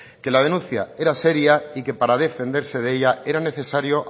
que la denuncia era seria y que para defenderse de ella era necesario